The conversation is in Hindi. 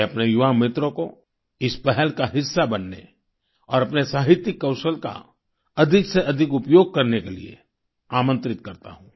मैं अपने युवा मित्रों को इस पहल का हिस्सा बनने और अपने साहित्यिक कौशल का अधिकसेअधिक उपयोग करने के लिए आमंत्रित करता हूँ